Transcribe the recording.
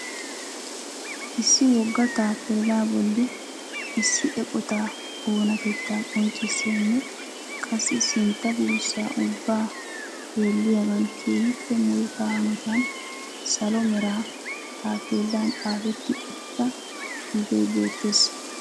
Issi wogga tappellaa bolli issi eqotaa oonatetaa qonccissiyanne qassi sintta buusaa ubba xeelliyaagan keehioppe muruta hanotan salo mera taappeelan xaafetti uttida xuffee beettees.